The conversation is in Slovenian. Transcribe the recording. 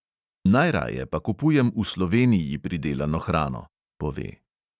"Najraje pa kupujem v sloveniji pridelano hrano!" pove.